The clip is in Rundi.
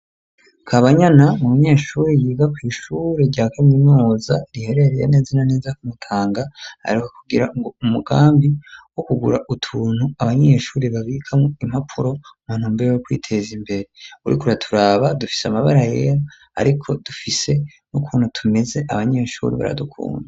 Kabanyana n'umunyeshure yiga kw'ishure rya kaminuza riherereye neza na neza kumutanga aheruka kugira umugambi wo kugura utuntu abanyeshure babikamwo impapuro mu ntumbero yo kwiteza imbere uriko uraturaba dufise amabara yera ariko dufise n'ukuntu tumeze abanyeshure baradukunda.